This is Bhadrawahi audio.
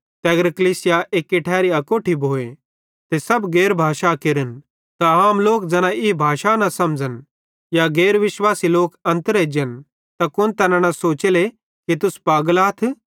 ते अगर कलीसिया एक्की ठैरी अकोट्ठी भोए ते सब गैर भाषा केरन त आम लोक ज़ैना ई भाषा न समझ़न या गैर विश्वासी लोक अन्तर एजन त कुन तैना इन न सोचेले कि तुस पागल आथ